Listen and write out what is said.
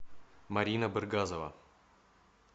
марина быргазова